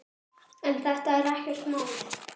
En þetta er ekkert mál.